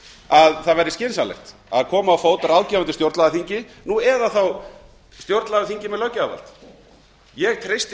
að það væri skynsamlegt að koma á fót ráðgefandi stjórnlagaþingi nú eða þá stjórnlagaþingi með löggjafarvald ég treysti